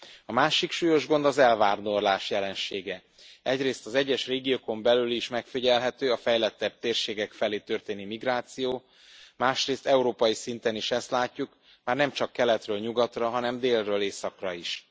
A másik súlyos gond az elvándorlás jelensége egyrészt az egyes régiókon belül is megfigyelhető a fejlettebb térségek felé történő migráció, másrészt európai szinten is ezt látjuk, már nemcsak keletről nyugatra, hanem délről északra is.